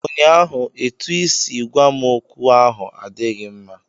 ụnyaahụ, etu i siri gwa m okwu ahụ adịghị mma